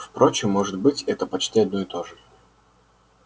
впрочем может быть это почти одно и то же